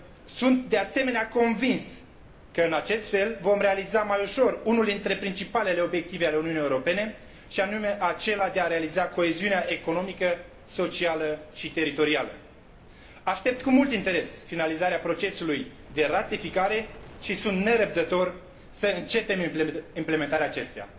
Sunt de asemenea convins că în acest fel vom realiza mai ușor unul dintre principalele obiective ale Uniunii Europene, și anume acela de a realiza coeziunea economică, socială și teritorială. Aștept cu mult interes finalizarea procesului de ratificare și sunt nerăbdător să începem implementarea acestuia.